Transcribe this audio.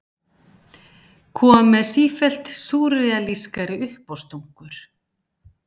Kom með sífellt súrrealískari uppástungur.